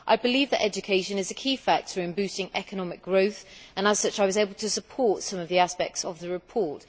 I believe that education is a key factor in boosting economic growth and, as such, I was able to support some of the aspects of the report.